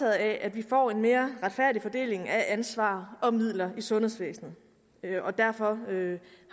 af at vi får en mere retfærdig fordeling af ansvar og midler i sundhedsvæsenet og derfor